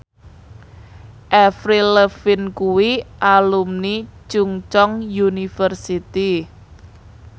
Avril Lavigne kuwi alumni Chungceong University